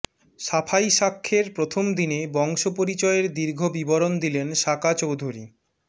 সাফাই সাক্ষ্যের প্রথম দিনে বংশপরিচয়ের দীর্ঘ বিবরণ দিলেন সাকা চৌধুরী